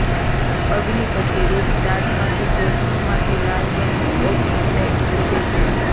અગ્નિ પછી રુટ તાજમાંથી ટોચનું માથું લાલ રંગનું ઓક ઊંડે ઊગે છે